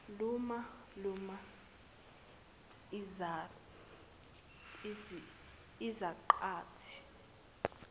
luma luma izaqathi